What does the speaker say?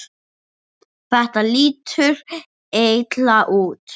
Þetta lítur illa út.